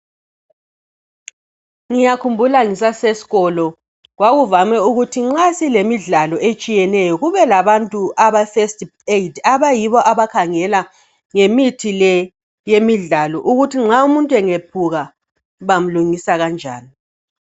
ngiyakhumbula ngisasesikolo kwakuvame ukuthi nxa silemidlalo etshiyeneyo kube labantu abe first aid abayibo abakhangela ngemithi le yemidlalo yokuthi nxa umuntu engephuka bamlungisa kanjani